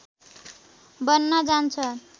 बन्न जान्छ